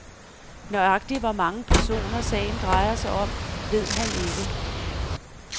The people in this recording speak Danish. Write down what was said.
Nøjagtig hvor mange personer, sagen drejer sig om, ved han ikke.